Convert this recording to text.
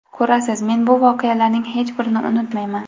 Ko‘rasiz, men bu voqealarning hech birini unutmayman.